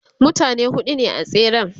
mutane huɗu ne a tseren